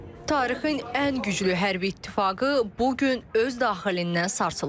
Tarixin ən güclü hərbi ittifaqı bu gün öz daxilindən sarsılır.